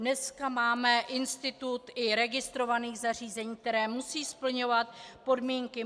Dneska máme institut i registrovaných zařízení, která musí splňovat podmínky.